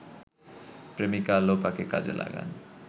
প্রেমিকা লোপাকে কাজে লাগান